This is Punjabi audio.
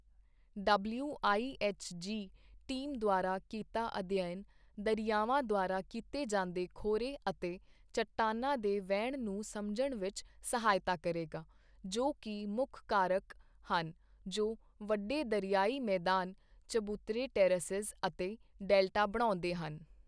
ਡਬਲਿਊਆਈਐੱਚਜੀ ਟੀਮ ਦੁਆਰਾ ਕੀਤਾ ਅਧਿਐਨ ਦਰਿਆਵਾਂ ਦੁਆਰਾ ਕੀਤੇ ਜਾਂਦੇ ਖੋਰੇ ਅਤੇ ਚਟਾਨਾਂ ਦੇ ਵਹਿਣ ਨੂੰ ਸਮਝਣ ਵਿੱਚ ਸਹਾਇਤਾ ਕਰੇਗਾ, ਜੋ ਕਿ ਮੁੱਖ ਕਾਰਕ ਹਨ ਜੋ ਵੱਡੇ ਦਰਿਆਈ ਮੈਦਾਨ, ਚਬੂਤਰੇ ਟੈਰੇਸਿਜ਼ ਅਤੇ ਡੈਲਟਾ ਬਣਾਉਂਦੇ ਹਨ।